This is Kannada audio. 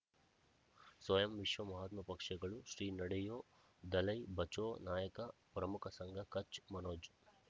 ಸ್ವಯಂ ವಿಶ್ವ ಮಹಾತ್ಮ ಪಕ್ಷಗಳು ಶ್ರೀ ನಡೆಯೂ ದಲೈ ಬಚೌ ನಾಯಕ ಪ್ರಮುಖ ಸಂಘ ಕಚ್ ಮನೋಜ್